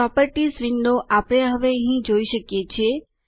properties window આપણે હવે જોઈ શકીએ છીએ